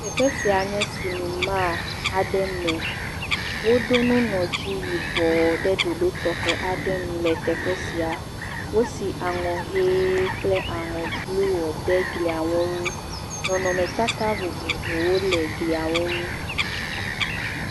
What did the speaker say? Teƒe sia ne sinima aɖe me woɖo nu nɔ dzi yibɔ ɖe ɖoɖo tɔxe aɖe me le teƒe sia, wosi aŋɔ hee kple ŋɔ blu ɖe eglia ŋu nɔnɔmetata vovovo wole glia ŋu.